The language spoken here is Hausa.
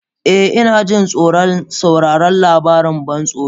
Eh, na ji tsoron sauraron labarin ban tsoro.